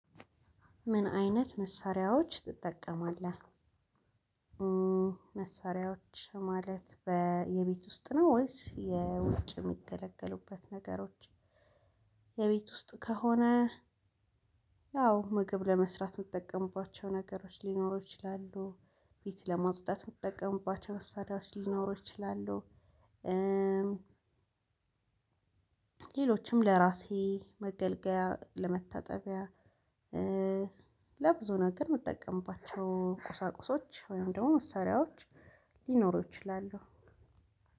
ምን አይነት መሳሪያዎች ትጠቀማለህ? መሳሪያዎች ማለት በየቤት ውስጥ ነው ወይስ የውጭ የሚገለገሉበት ነገሮች። የቤት ውስጥ ከሆነ። ያው ምግብ ለመስራት የምጠቀምባቸው ነገሮች ሊኖሩ ይችላሉ ቤት ለማጽዳት የምጠቀምባቸው መሳሪያዎች ሊኖሩ ይችላሉ። ሌሎችም ለራሴ መገልገያ ለመታጠቢያ ለብዙ ነገር የምጠቀምባቸው ቁሳቁሶች ወይም ደግሞ መሳሪያዎች። ሊኖሩ ይችላሉ።